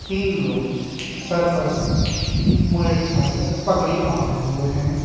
तीन लोग सर पर मुरेठा या पगड़ी बांधे हुए हैं।